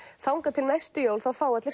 þangað til næstu jól þá fá allir